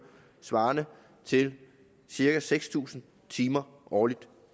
svarende til cirka seks tusind timer årligt